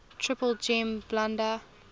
triple gem buddha